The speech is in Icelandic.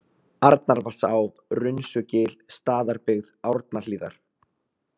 Arnarvatnsá, Runsugil, Staðarbyggð, Árnahlíðar